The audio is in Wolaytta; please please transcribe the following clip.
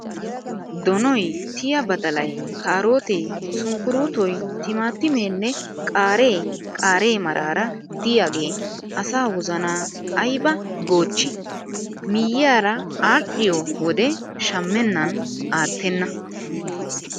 Donoyi, tiyaa badalayi , kaaroote, sunkkuruutoyi, timaatimeenne qaaree qaare maaraara diyaage asaa wozanaa ayiba goochchi. miyyiyaara aadhdhiyoo wode shammennan aattenna.